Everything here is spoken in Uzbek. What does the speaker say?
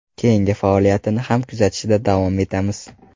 Keyingi faoliyatini ham kuzatishda davom etamiz.